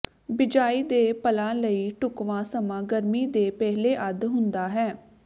ਬਿਜਾਈ ਦੇ ਪਲਾਂ ਲਈ ਢੁਕਵਾਂ ਸਮਾਂ ਗਰਮੀ ਦੇ ਪਹਿਲੇ ਅੱਧ ਹੁੰਦਾ ਹੈ